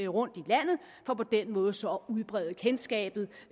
rundt i landet for på den måde så at udbrede kendskabet